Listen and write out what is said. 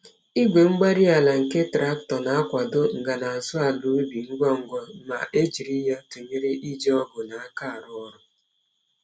Igwe-mgbárí-ala nke traktọ na-akwado nagazu àlà ubi ngwa ngwa ma e jiri ya tụnyere iji ọgụ n'aka arụ ọrụ.